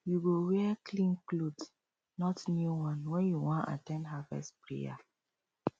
you go wear clean cloth not new one when you wan at ten d harvest prayer